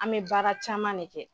An bɛ baara caman de kɛ.